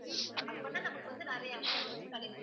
அப்பத் தான் நமக்கு வந்து நிறைய amount கிடைக்கும்.